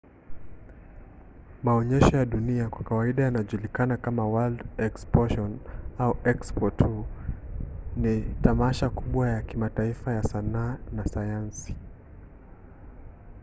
maonyesho ya dunia kwa kawaida yanajulikana kama world exposition au expo tu ni tamasha kubwa ya kimataifa ya sanaa na sayansi